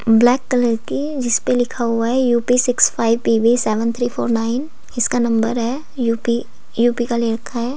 Black colour की जिस पे लिखा हुआ है U P six five P V seven three four nine इसका नंबर है यू_पी यू_पी का ले रखा है।